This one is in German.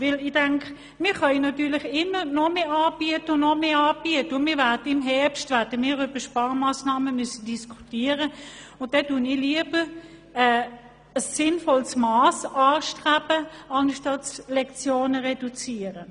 Wir können natürlich immer noch mehr anbieten, aber im Herbst müssen wir über Sparmassnahmen diskutieren, und dann strebe ich lieber ein sinnvolles Mass an, statt Lektionen zu reduzieren.